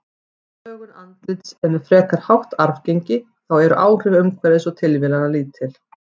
Lögun andlits er með frekar hátt arfgengi, þá eru áhrif umhverfis og tilviljana lítil.